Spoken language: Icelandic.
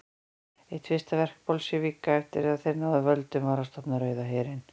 Eitt fyrsta verk Bolsévíka eftir að þeir náðu völdum var að stofna Rauða herinn.